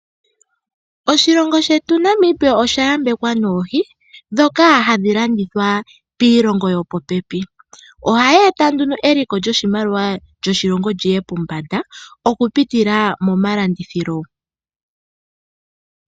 Oshilongo shetu Namibia osha yambekwa noohi dhoka hadhi landithwa piilongo yopopepi. Ohayi eta nduno eliko lyoshimaliwa lyoshilongo liye pombanda okupitila momalandithilo.